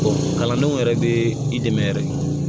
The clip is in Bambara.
kalandenw yɛrɛ bɛ i dɛmɛ yɛrɛ